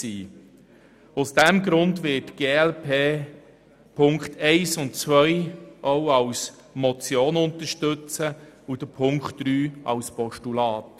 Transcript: Deshalb wird die glp Punkt 1 und 2 auch als Motion unterstützen und Punkt 3 als Postulat.